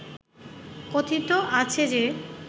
কথিত আছে যে